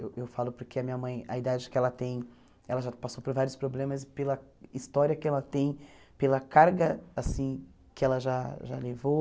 Eu falo porque a minha mãe, a idade que ela tem, ela já passou por vários problemas, pela história que ela tem, pela carga assim que ela já já levou.